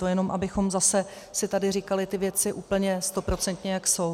To jenom abychom zase si tady říkali ty věci úplně stoprocentně, jak jsou.